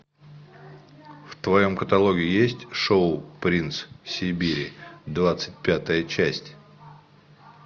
в твоем каталоге есть шоу принц сибири двадцать пятая часть